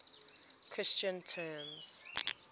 christian terms